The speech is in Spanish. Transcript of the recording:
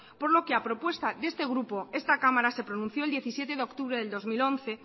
por lo que a propuesta de este grupo esta cámara se pronunció el diecisiete de octubre del dos mil once